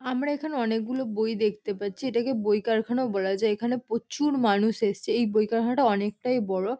আমরা এখানে অনেকগুলো বই দেখতে পাচ্ছি। এটাকে বই কারখানাও বলা যায়। এখানে প্রচুর-র মানুষ এসছে। এই বই কারখানাটা অনেকটাই বড়।